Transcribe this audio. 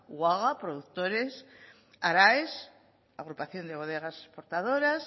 uaga productores araes agrupación de bodegas portadoras